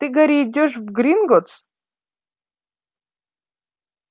ты гарри идёшь в гринготтс